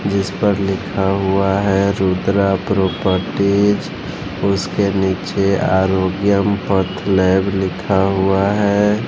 जिस पर लिखा हुआ है रुद्रा प्रॉपर्टीज उसके नीचे आरोग्यम पैथलैब लिखा हुआ है।